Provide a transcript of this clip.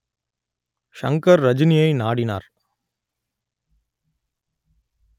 ஷங்கர் ரஜினியை நாடினார்